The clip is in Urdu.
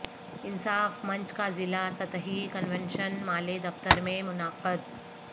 انصاف منچ کا ضلع سطحی کنونشن مالے دفتر میں منعقد